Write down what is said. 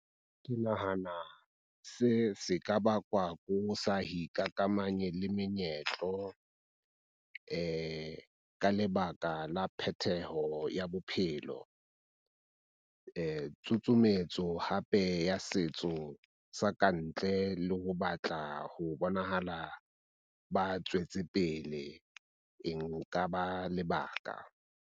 Ke nahana se se ka bakwa ko sa le menyetlo ka lebaka la phetheho ya bophelo. Tsusumetso hape ya setso sa kantle le ho batla ho bonahala ba tswetse pele e nka ba lebaka.